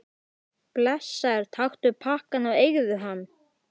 Blessaður, taktu pakkann og eigðu hann.